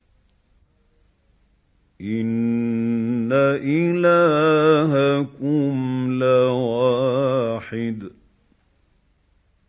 إِنَّ إِلَٰهَكُمْ لَوَاحِدٌ